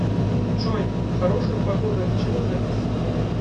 джой хорошая погода от чего зависит